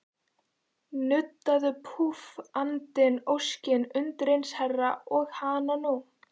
Nuddaðu, púff, andinn, óskin, undireins herra, og hananú!